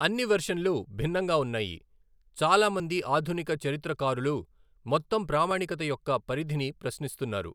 అన్ని వెర్షన్లు భిన్నంగా ఉన్నాయి, చాలా మంది ఆధునిక చరిత్రకారులు మొత్తం ప్రామాణికత యొక్క పరిధిని ప్రశ్నిస్తున్నారు.